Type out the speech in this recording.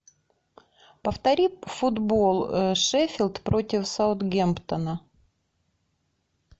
повтори футбол шеффилд против саутгемптона